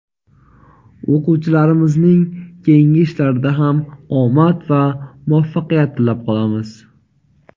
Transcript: O‘quvchilarimizning keyingi ishlarida ham omad va muvaffaqiyat tilab qolamiz!.